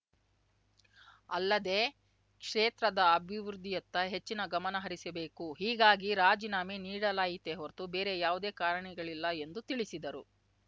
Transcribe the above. ಅಲ್ಲದೇ ಕ್ಷೇತ್ರದ ಅಭಿವೃದ್ಧಿಯತ್ತ ಹೆಚ್ಚಿನ ಗಮನಹರಿಸಬೇಕು ಹೀಗಾಗಿ ರಾಜೀನಾಮೆ ನೀಡಲಾಗಿಯಿತೇ ಹೊರತು ಬೇರೆ ಯಾವುದೇ ಕಾರಣಗಳಿಲ್ಲ ಎಂದು ತಿಳಿಸಿದರು